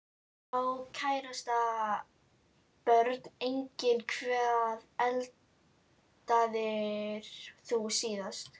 Á kærasta Börn: Engin Hvað eldaðir þú síðast?